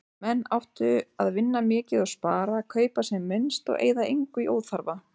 Menn áttu að vinna mikið og spara, kaupa sem minnst og eyða engu í óþarfa.